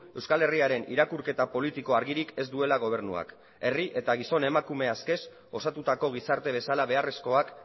euskal herriaren irakurketa politiko argirik ez duela gobernuak herri eta gizon emakume askez osatutako gizarte bezala beharrezkoak